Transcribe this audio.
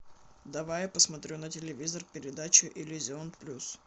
давай я посмотрю на телевизоре передачу иллюзион плюс